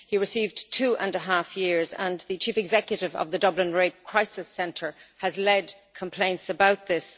He received two and a half years, and the chief executive of the Dublin Rape Crisis Centre has led complaints about this.